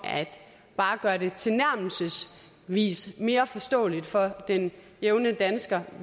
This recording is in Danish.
bare at gøre det tilnærmelsesvis mere forståeligt for den jævne dansker